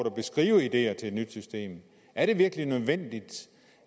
at beskrive ideer til et nyt system er det virkelig nødvendigt